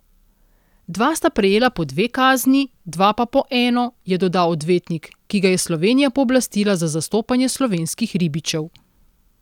Dva sta prejela po dve kazni, dva pa po eno, je dodal odvetnik, ki ga je Slovenija pooblastila za zastopanje slovenskih ribičev.